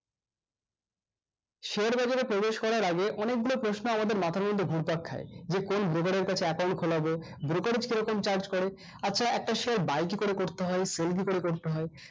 share বাজারে প্রবেশ করার আগে অনেক গুলা প্রশ্ন আমাদের মাথার মধ্যে ঘুরপাক খায় যে কোন broker এর কাছে account খোলাবো brokers কিরকম charge করে আচ্ছা একটা share buy কি করে করতে হয় sell কি করে করতে হয়